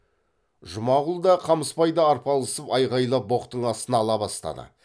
жұмағұл да қамысбайда арпалысып айғайлап боқтың астына ала бастады